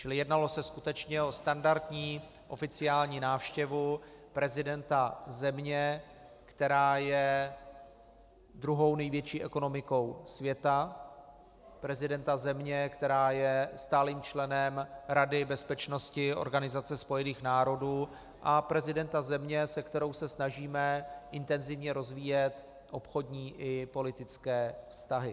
Čili jednalo se skutečně o standardní oficiální návštěvu prezidenta země, která je druhou největší ekonomikou světa, prezidenta země, která je stálým členem Rady bezpečnosti Organizace spojených národů, a prezidenta země, se kterou se snažíme intenzivně rozvíjet obchodní i politické vztahy.